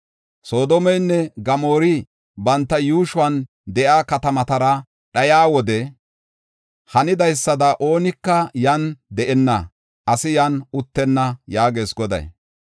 Soodomeynne Gamoori banta yuushuwan de7iya katamatara dhayiya wode hanidaysada oonika yan deenna; asi yan uttenna” yaagees Goday.